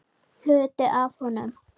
Hluti af honum.